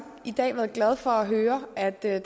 i dag været glad for at høre at der